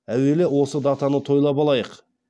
әуелі осы датаны тойлап алайық